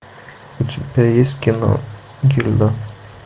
у тебя есть кино гильда